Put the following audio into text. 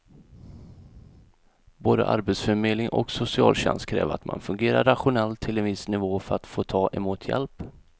Både arbetsförmedling och socialtjänst kräver att man fungerar rationellt till en viss nivå för att få ta emot hjälp.